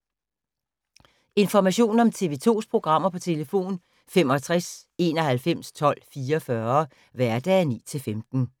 Information om TV 2's programmer: 65 91 12 44, hverdage 9-15.